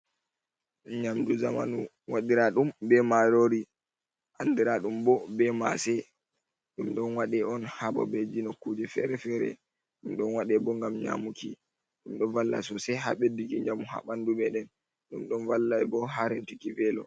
Nyamdu zamanu waɗiraa ɗum be marori, andira ɗum bo be maase. Ɗum ɗon waɗe on bo ha nokkuje fere-fere. Ɗum ɗon waɗe bo ngam nyamuki. Ɗum ɗo walla sosai ha bedduki njamu ha bandu meɗen. Ɗum ɗon walla bo ha rentuki welo.